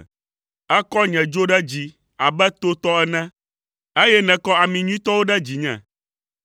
Èkɔ nye dzo ɖe dzi abe to tɔ ene, eye nèkɔ ami nyuitɔwo ɖe dzinye.